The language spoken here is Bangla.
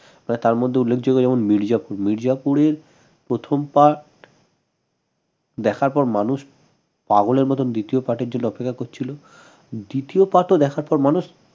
তার মধ্যে উল্লেখযোগ্য যেমন মির্জাপুর মির্জাপুরের প্রথম part দেখার পর মানুষ পাগলের মতন দ্বিতীয় part এর জন্য অপেক্ষা করছিল দ্বিতীয় part ও দেখার পর মানুষ